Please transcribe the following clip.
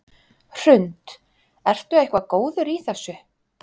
Hrund: Ertu eitthvað góður í þessu?